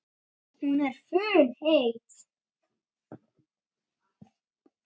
Hún er funheit.